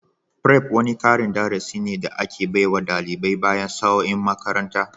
Prep wani karin darasi ne da ake baiwa dalibai bayan sa'o'in makaranta.